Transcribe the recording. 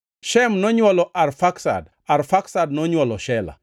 Shem nonywolo Arfaksad, Arfaksad nonywolo Shela.